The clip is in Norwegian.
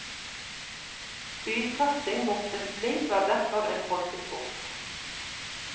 Spydkasting mot et blink var derfor en folkesport.